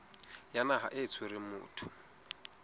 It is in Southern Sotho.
ya naha e tshwereng motho